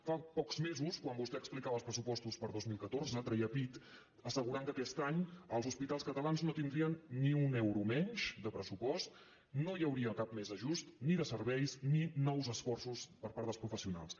fa pocs mesos quan vostè explicava els pressupostos per al dos mil catorze treia pit en assegurar que aquest any els hospitals catalans no tindrien ni un euro menys de pressupost no hi hauria cap més ajust ni de serveis ni nous esforços per part dels professionals